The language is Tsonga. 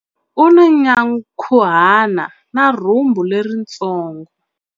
U na nyankhuhana na rhumbu leritsongo.